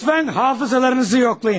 Lütfən hafızalarınızı yoxlayın.